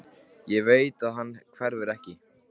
Ég veit að hann hverfur ekki.